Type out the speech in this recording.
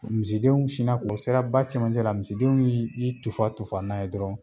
Misidenw sina k'o u sera ba cɛmancɛ la misidenw ye y'i tufa tufa n'a ye dɔrɔn